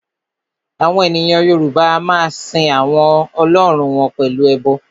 Àwọn ènìyàn Yorùbá a máa sin àwọn Ọlọ́run wọn pẹ̀lú ẹbọ